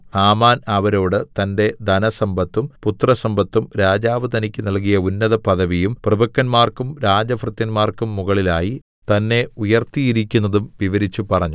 Haman അവരോട് തന്റെ ധനസമ്പത്തും പുത്രസമ്പത്തും രാജാവ് തനിക്കു നല്കിയ ഉന്നതപദവിയും പ്രഭുക്കന്മാർക്കും രാജഭൃത്യന്മാർക്കും മുകളിലായി തന്നെ ഉയർത്തിയിരിക്കുന്നതും വിവരിച്ചു പറഞ്ഞു